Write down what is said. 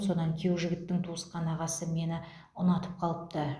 содан күйеу жігіттің туысқан ағасы мені ұнатып қалыпты